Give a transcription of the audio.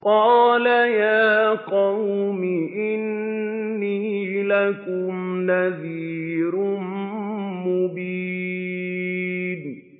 قَالَ يَا قَوْمِ إِنِّي لَكُمْ نَذِيرٌ مُّبِينٌ